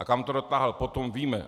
A kam to dotáhl potom, víme.